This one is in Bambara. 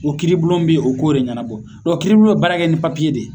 O kiiribulon bi o k'o de ɲɛnabɔ, kiiribolo bi baarakɛ ni de ye